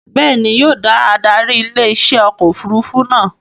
Bẹ́ẹ̀ni, yóò da adarí ilé iṣẹ́ ọkọ̀ òfurufú náà